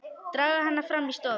Draga hana fram í stofu.